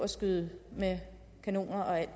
skyde med kanoner og alt